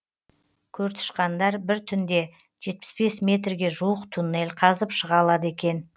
көртышқандар бір түнде жетпіс бес метрге жуық туннель қазып шыға алады екен